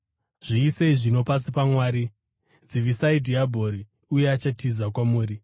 Zviisei zvino, pasi paMwari. Dzivisai dhiabhori, uye achatiza kwamuri.